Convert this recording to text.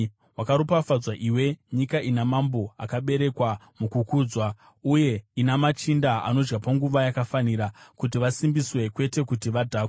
Wakaropafadzwa iwe nyika ina mambo akaberekwa mukukudzwa uye ina machinda anodya panguva yakafanira, kuti vasimbiswe kwete kuti vadhakwe.